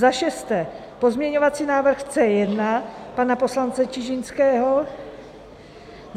Za šesté pozměňovací návrh C1 pana poslance Čižinského.